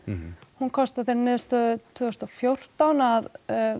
hún komst að þeirri niðurstöðu tvö þúsund og fjórtán að